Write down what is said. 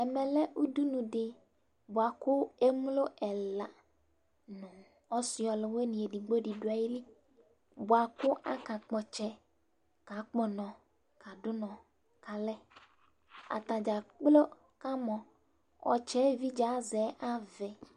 ɛmɛ lɛ udunu di boa kò emlo ɛla no ɔse ɔlowini edigbo di do ayili boa kò aka kpɔ ɔtsɛ kakpɔ ɔnɔ kado unɔ k'alɛ atadza kplo kamɔ ɔtsɛ evidze azɛ avɛ